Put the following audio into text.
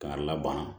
K'a laban